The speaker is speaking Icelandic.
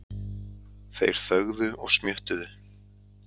Þeir þögðu og smjöttuðu.